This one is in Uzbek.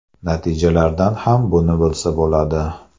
Natijalardan ham buni bilsa bo‘ladi”.